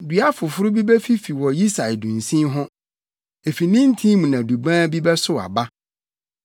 Dua foforo bi befifi wɔ Yisai dunsin ho; efi ne ntin mu na Dubaa bi bɛsow aba.